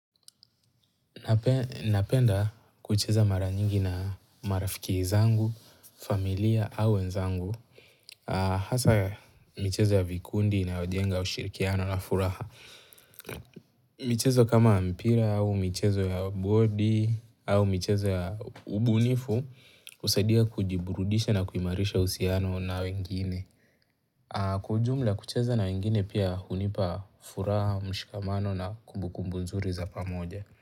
Napenda kucheza mara nyingi na marafiki zangu, familia au wenzangu. Hasa michezo ya vikundi inayojenga ushirikiano na furaha. Michezo kama mpira au michezo ya bodi au michezo ya ubunifu husaidia kujiburudisha na kuimarisha uhusiano na wengine. Kwa ujumla, kucheza na wengine pia hunipa furaha, mshikamano na kumbukumbu nzuri za pamoja.